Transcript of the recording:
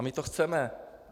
A my to chceme.